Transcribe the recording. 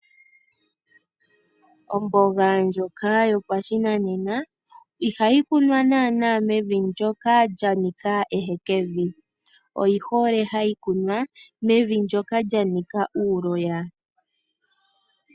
Omboga ndjoka yopashinanena ihayi kunwa naana mevi ndyoka lya nika ehekevi. Oyi hole hayi kunwa mevi ndyoka lya nika uuloya.